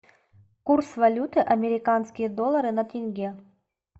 курс валюты американские доллары на тенге